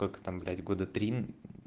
только там блять года три